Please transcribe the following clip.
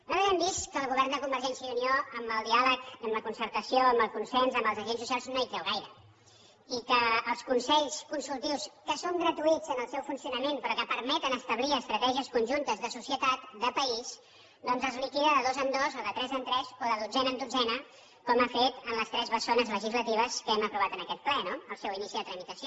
nosaltres hem vist que el govern de convergència i unió en el diàleg i en la concertació en el consens amb els agents socials no hi creu gaire i que els consells consultius que són gratuïts en el seu funcionament però que permeten establir estratègies conjuntes de societat de país doncs es liquiden de dos en dos o de tres en tres o de dotzena en dotzena com ha fet en les tres bessones legislatives que hem aprovat en aquest ple no el seu inici de tramitació